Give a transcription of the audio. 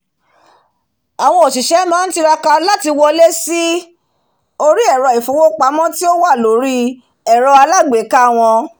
àwọn òsìsẹ́ máá tiraka láti wọlé sí orí ẹ̀rọ̀ ìfowópamọ́ tí ó wà lórí ẹ̀rọ aalágbèéká wọn